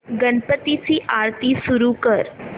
गणपती ची आरती सुरू कर